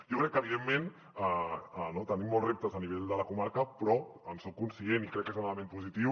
jo crec que evidentment tenim molts reptes a nivell de la comarca però en soc conscient i crec que és un element positiu